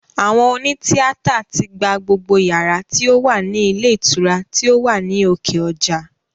Àwọn òní tíátà tí gba gbogbo yàrá tí ó wà ní ilé ìtura tí ó wà ní òkè ọjà